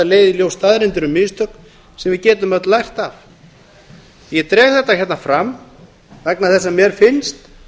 leiða í ljós staðreyndir um mistök sem við getum öll lært af ég dreg þetta hérna fram vegna þess að mér finnst